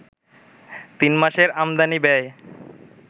তিন মাসের আমদানি ব্যয়